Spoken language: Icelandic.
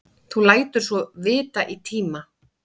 Þú lætur svo vita í tíma.